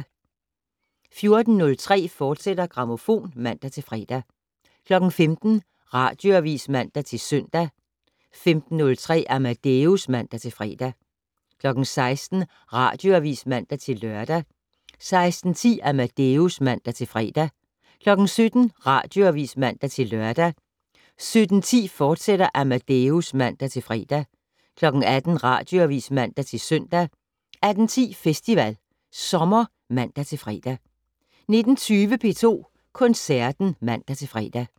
14:03: Grammofon, fortsat (man-fre) 15:00: Radioavis (man-søn) 15:03: Amadeus (man-fre) 16:00: Radioavis (man-lør) 16:10: Amadeus (man-fre) 17:00: Radioavis (man-lør) 17:10: Amadeus, fortsat (man-fre) 18:00: Radioavis (man-søn) 18:10: Festival Sommer (man-fre) 19:20: P2 Koncerten (man-fre)